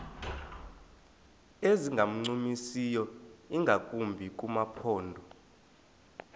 ezingancumisiyo ingakumbi kumaphondo